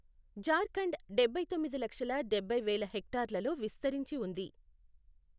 జార్ఖండ్ డభైతొమ్మిది లక్షల డబ్బై వేల హెక్టార్లలో విస్తరించి ఉంది.